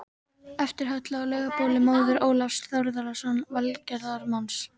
eftir Höllu á Laugabóli, móður Ólafs Þórðarsonar velgerðarmanns